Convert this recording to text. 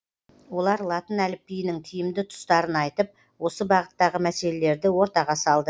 олар латын әліпбиінің тиімді тұстарын айтып осы бағыттағы мәселелерді ортаға салды